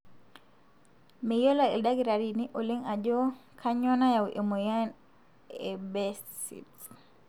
meyiolo ildakitarini oleng ajo kanyio nayau emoyian e Behcet's.